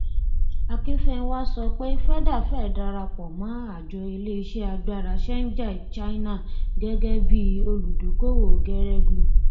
o sọpe ọjà na òun gbòrò sì ni ọjọ ojúmọ nítorí ìdí tó pò